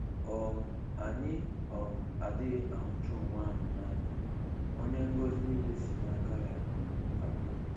um Anyị um adịghị ahụcha Onyenwe anyị n'anya, Onye ngọzi niile si n'aka ya um abịa